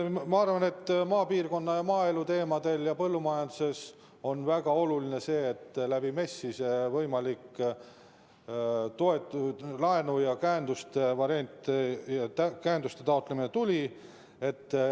Ma arvan, et maapiirkonna, maaelu ja põllumajanduse puhul on väga oluline see, et MES‑i kaudu see võimalik laenu ja käenduse taotlemine tuli.